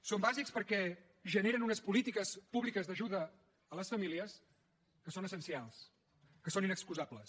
són bàsics perquè generen unes polítiques públiques d’ajuda a les famílies que són essencials que són inexcusables